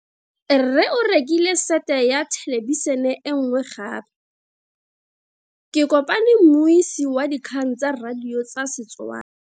Rre o rekile sete ya thelebišene e nngwe gape. Ke kopane mmuisi w dikgang tsa radio tsa Setswana.